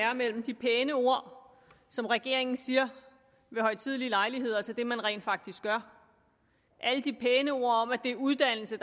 er mellem de pæne ord som regeringen siger ved højtidelige lejligheder og så det man rent faktisk gør alle de pæne ord om at det er uddannelse